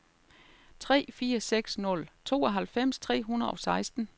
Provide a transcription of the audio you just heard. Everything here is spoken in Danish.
tre fire seks nul tooghalvfems tre hundrede og seksten